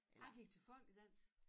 Jeg gik til folkedans